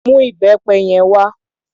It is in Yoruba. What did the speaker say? Mú ìbẹpẹ yẹn wá.